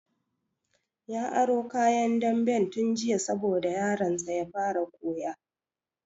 Ya aro kayan damben tun jiya saboda yaron sa ya fara koya